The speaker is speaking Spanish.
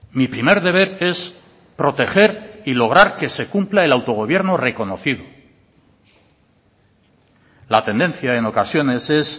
mi primer deber es proteger y lograr que se cumpla el autogobierno reconocido la tendencia en ocasiones es